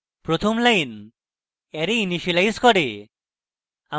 প্রথম line array initialise করে